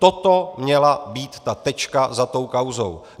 Toto měla být ta tečka za tou kauzou.